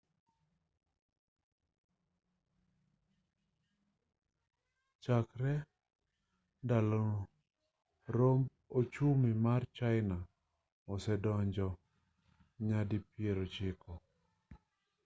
chakre ndalono romb ochumi ma china osedongo nyadipierochiko